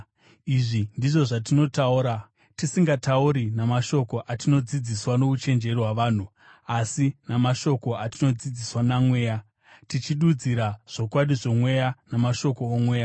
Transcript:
Izvi ndizvo zvatinotaura, tisingatauri namashoko atinodzidziswa nouchenjeri hwavanhu, asi namashoko atinodzidziswa naMweya, tichidudzira zvokwadi zvomweya namashoko omweya.